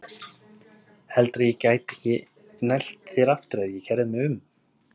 Heldurðu að ég gæti ekki nælt þér aftur ef ég kærði mig um?